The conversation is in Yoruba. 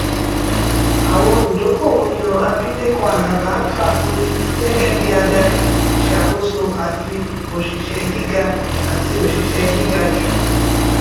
àwọn olùdókówó yan abileko alábá fagun gẹgẹ bí adárí ìṣàkóso àti oṣìṣẹ gíga àti oṣìṣẹ gíga jù